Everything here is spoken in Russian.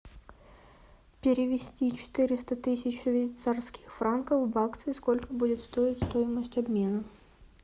перевести четыреста тысяч швейцарских франков в баксы сколько будет стоить стоимость обмена